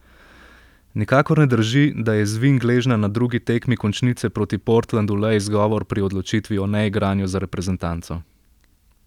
Nikakor ne drži, da je zvin gležnja na drugi tekmi končnice proti Portlandu le izgovor pri odločitvi o neigranju za reprezentanco.